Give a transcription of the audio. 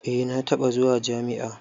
Eh na taɓa zuwa jami'a.